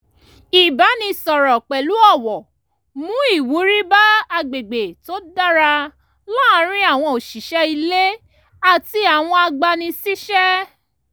ìbánisọ̀rọ̀ pẹ̀lú ọ̀wọ̀ mú ìwúrí bá agbègbè tó dára láàrin àwọn òṣìṣẹ́ ilé àti àwọn agbani-síṣẹ́